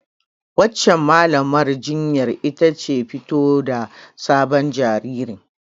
Wancan Mallamar jinyar ita ce fito da sabon jaririn.